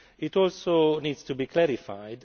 This also needs to be clarified.